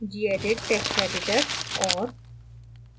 gedit text editor और